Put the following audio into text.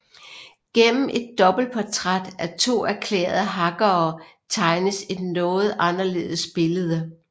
Gennem et dobbeltportræt af to erklærede hackere tegnes et noget anderledes billede